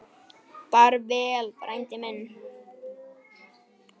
Far vel, frændi minn.